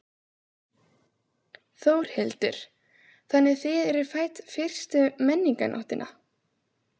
Þórhildur: Þannig þið eru fædd fyrstu Menningarnóttina?